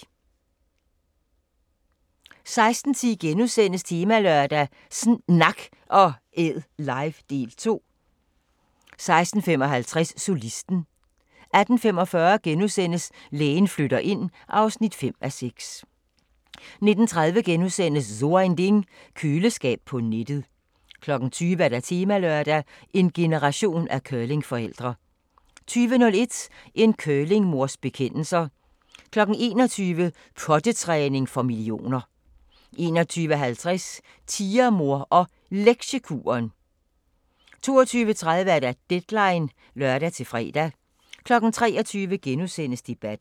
16:10: Temalørdag: sNak & Æd live – del 2 * 16:55: Solisten 18:45: Lægen flytter ind (5:6)* 19:30: So Ein Ding: Køleskab på nettet * 20:00: Temalørdag: En generation af curlingforældre 20:01: En curlingmors bekendelser 21:00: Pottetræning for millioner 21:50: Tigermor og Lektiekuren 22:30: Deadline (lør-fre) 23:00: Debatten *